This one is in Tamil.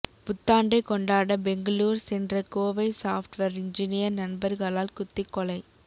புத்தாண்டை கொண்டாட பெங்களூர் சென்ற கோவை சாப்ட்வேர் என்ஜினியர் நண்பர்களால் குத்திக் கொலை